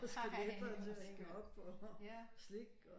Og skeletter til at hænge op og slik og